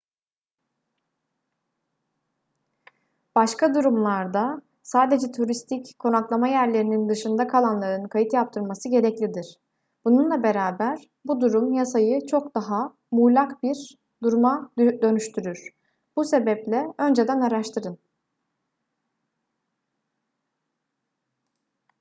başka durumlarda sadece turistik konaklama yerlerinin dışında kalanların kayıt yaptırması gereklidir bununla beraber bu durum yasayı çok daha muğlak bir duruma dönüştürür bu sebeple önceden araştırın